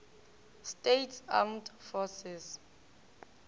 states armed forces